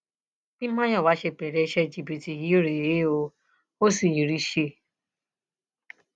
bí mayowa ṣe bẹrẹ iṣẹ jìbìtì yìí rèé ó sì rí i ṣe